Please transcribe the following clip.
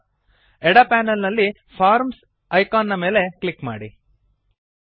ಎಡ ಪೆನಲ್ ನಲ್ಲಿ forms icon ಮೇಲೆ ಕ್ಲಿಕ್ ಮಾಡಿರಿ